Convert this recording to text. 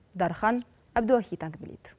дархан әбдуахит әңгімелейді